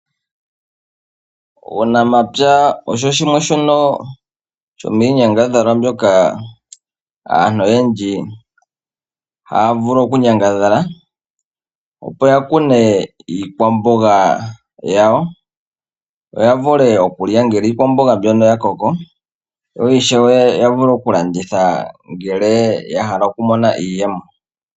Uunamapya osho shimwe shono shomiinyangadhalwa mbyoka aantu oyendji haa vulu okunyangadhala, opo ya kune iikwamboga yawo, ya vule okulya uuna iikwamboga mbyono ya koko, yo ishewe ya vule okulanditha ngele oya hala okumona iiyemo.